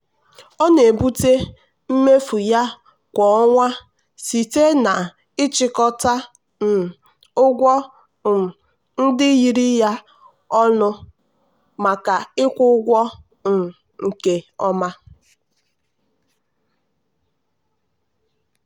ọ na-ebute mmefu ya kwa ọnwa site na-ịchịkọta um ụgwọ um ndị yiri ya ọnụ maka ịkwụ ụgwọ um nke ọma.